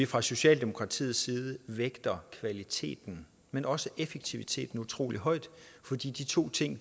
fra socialdemokratiets side vægter vi kvaliteten men også effektiviteten utrolig højt fordi de to ting